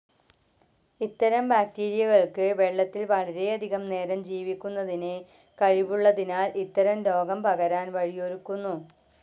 ഇത്തരം ബാക്റ്റീരിയകൾക്ക് വെള്ളത്തിൽ വളരെയധികം നേരം ജീവിക്കുന്നതിന്‌ കഴിവുള്ളതിനാൽ ഇത്തരം രോഗം പകരാൻ വഴിയൊരുക്കുന്നു.